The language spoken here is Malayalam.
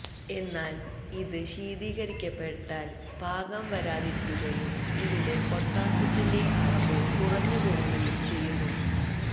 എന്നാല് ഇത് ശീതീകരിക്കപ്പെട്ടാല് പാകം വരാതിരിക്കുകയും ഇതിലെ പൊട്ടാസ്യത്തിന്റെ അളവ് കുറഞ്ഞു പോവുകയും ചെയ്യുന്നു